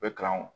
U bɛ kalan